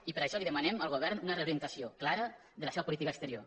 i per això li demanem al govern una reorientació clara de la seva política exterior